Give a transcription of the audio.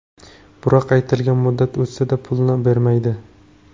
Biroq aytilgan muddat o‘tsa-da, pulni bermaydi.